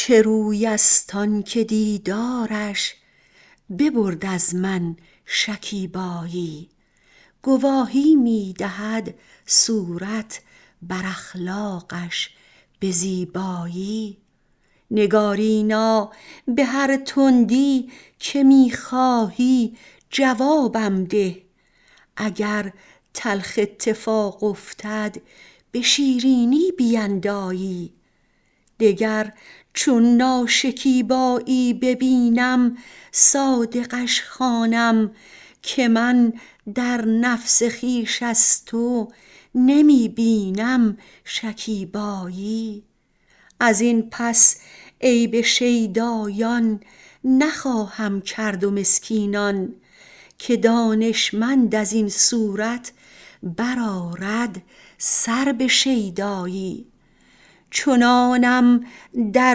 چه روی است آن که دیدارش ببرد از من شکیبایی گواهی می دهد صورت بر اخلاقش به زیبایی نگارینا به هر تندی که می خواهی جوابم ده اگر تلخ اتفاق افتد به شیرینی بیندایی دگر چون ناشکیبایی ببینم صادقش خوانم که من در نفس خویش از تو نمی بینم شکیبایی از این پس عیب شیدایان نخواهم کرد و مسکینان که دانشمند از این صورت بر آرد سر به شیدایی چنانم در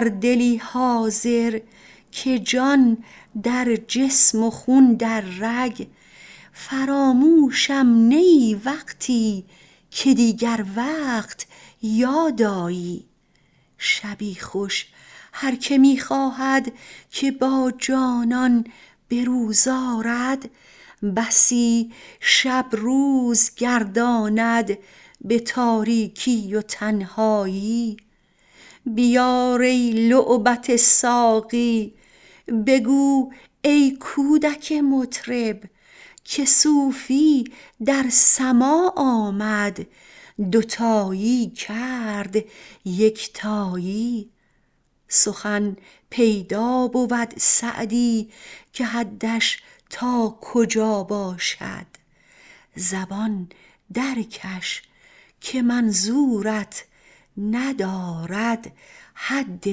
دلی حاضر که جان در جسم و خون در رگ فراموشم نه ای وقتی که دیگر وقت یاد آیی شبی خوش هر که می خواهد که با جانان به روز آرد بسی شب روز گرداند به تاریکی و تنهایی بیار ای لعبت ساقی بگو ای کودک مطرب که صوفی در سماع آمد دوتایی کرد یکتایی سخن پیدا بود سعدی که حدش تا کجا باشد زبان درکش که منظورت ندارد حد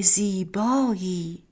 زیبایی